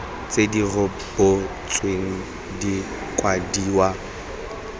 tse di rebotsweng di kwadiwa